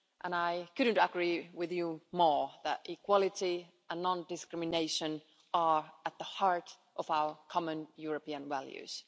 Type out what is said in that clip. I couldn't agree with you more that equality and non discrimination are at the heart of our common European values.